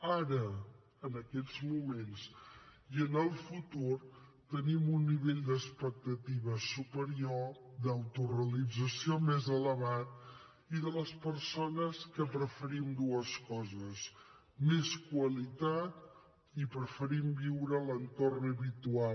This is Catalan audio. ara en aquests moments i en el futur tenim un nivell d’expectativa superior un nivell d’autorealització més elevat i les persones preferim dues coses més qualitat i viure a l’entorn habitual